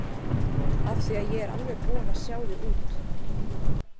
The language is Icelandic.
Af því að ég er alveg búin að sjá þig út.